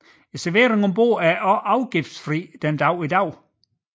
Serveringen om bord er også afgiftsfri den dag i dag